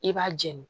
I b'a jeni